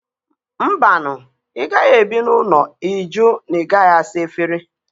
Mba nụ! ị gaghị ebi n'ụlọ ịjụ na ị gaghị asa efere